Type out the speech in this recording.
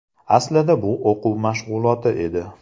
Aslida bu o‘quv mashg‘uloti edi.